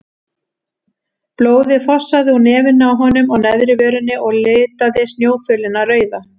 Blóðið fossaði úr nefinu á honum og neðri vörinni og litaði snjófölina rauða.